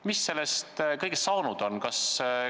Mis sellest kõigest saanud on?